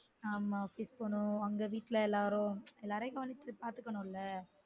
ஆமா kitchen னு அங்க வீட்ல எல்லாரும் எல்லாரையும் கவனிச்சு பார்துக்கனும் ல